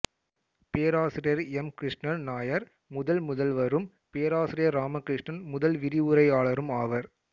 பேராசிரியர் எம் கிருஷ்ணன் நாயர் முதல் முதல்வரும் பேராசிரியர் இராமகிருஷ்ணன் முதல் விரிவுரையாளரும் ஆவர்